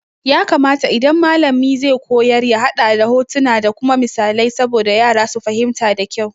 Ya kamata idan malami zai koyar ya haɗa da hotuna da kuma misalai saboda yara su fahimta da kyau.